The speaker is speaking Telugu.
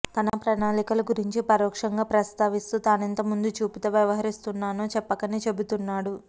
తన ప్రణాళికల గురించి ప్రరోక్షంగా ప్రస్తావిస్తూ తానెంత ముందుచూపుతో వ్యవహరిస్తున్నానో చెప్పకనే చెబుతున్నాడు